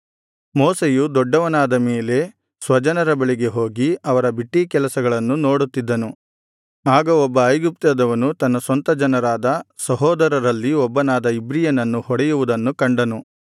ಮೋಶೆಯು ದೊಡ್ಡವನಾದ ಮೇಲೆ ಸ್ವಜನರ ಬಳಿಗೆ ಹೋಗಿ ಅವರ ಬಿಟ್ಟೀಕೆಲಸಗಳನ್ನು ನೋಡುತ್ತಿದ್ದನು ಆಗ ಒಬ್ಬ ಐಗುಪ್ತ್ಯದವನು ತನ್ನ ಸ್ವಂತ ಜನರಾದ ಸಹೋದರರಲ್ಲಿ ಒಬ್ಬನಾದ ಇಬ್ರಿಯನನ್ನು ಹೊಡೆಯುವುದನ್ನು ಕಂಡನು